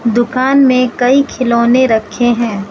दुकान में कई खिलौने रखे हैं।